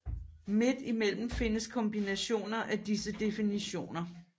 Midt imellem findes kombinationer af disse definitioner